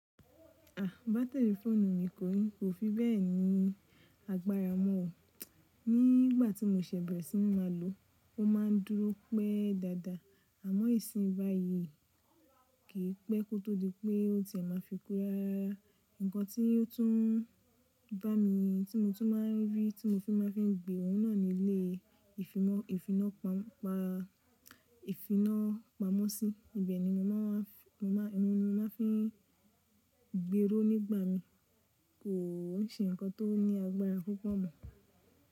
À bátìrì fóònù mi kò fi bẹ́ẹ̀ ní agbára mọ́ o. Ní ìgbàtí mo ṣẹ̀ bẹ̀rẹ̀ sí máa lòó, ó má a ń dúró pẹ́ dada, àmọ́ ìsin báyìí kì í pẹ́ kó tó di pé ó ti e máa fi ku rarara. Ǹkan tí ó tún bá mi tí mo tún máa ń rí tí mo fi máa ń fi gbé òun náà ní ilé ìfina ìfiná pamọ́ sí. Ibẹ̀ ni mo máa fi n gberó nígbà mi kò ń ṣe ǹkan tó ní agbára púpọ̀ mọ́.